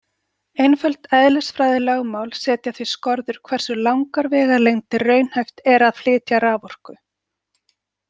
Einföld eðlisfræðilögmál setja því skorður hversu langar vegalengdir raunhæft er að flytja raforku.